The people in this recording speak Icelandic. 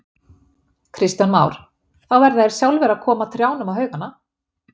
Kristján Már: Þá verða þeir sjálfir að koma trjánum á haugana?